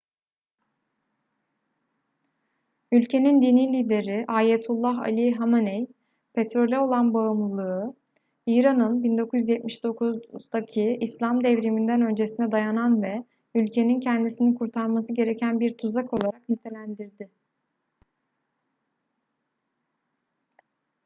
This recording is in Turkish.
ülkenin dini lideri ayetullah ali hameney petrole olan bağımlılığı i̇ran'ın 1979'daki i̇slam devrimi'nden öncesine dayanan ve ülkenin kendisini kurtarması gereken bir tuzak olarak nitelendirdi